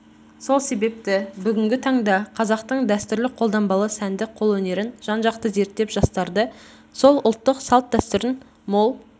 сол себепті бүгінгі таңда қазақтың дәстүрлі қолданбалы сәндік қолөнерін жан-жақты зерттеп жастарды сол ұлттық салт-дәстүрдің мол